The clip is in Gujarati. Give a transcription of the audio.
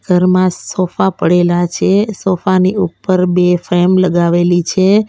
ઘરમાં સોફા પડેલા છે સોફા ની ઉપર બે ફ્રેમ લગાવેલી છે.